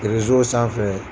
sanfɛ.